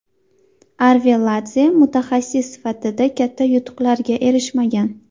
Arveladze mutaxassis sifatida katta yutuqlarga erishmagan.